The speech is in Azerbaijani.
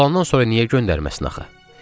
Olandan sonra niyə göndərməsin axı?